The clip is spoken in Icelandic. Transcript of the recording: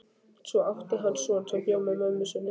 Svo átti hann son sem bjó með mömmu sinni í